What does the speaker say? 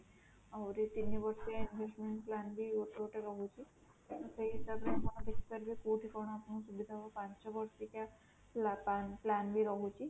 ଆହୁରି ତିନି ବର୍ଷିଆ investment plan ବି ଗୋଟେ ଗୋଟେ ରହୁଛି, ସେହି ହିସାବରେ ଆପଣ decide କରିବେ ଆପଣ କୋଉଠି କଣ ଆପଣଙ୍କୁ ସୁବିଧା ହବ ପାଞ୍ଚ ବର୍ଷିକିଆ plan ବି ରହୁଛି